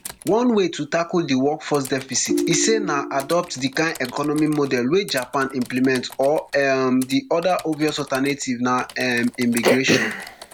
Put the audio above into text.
one way to tackle di workforce deficit e say na adopt di kain economic model wey japan implement or um di oda obvious alternative na um immigration